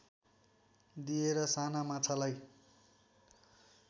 दिएर साना माछालाई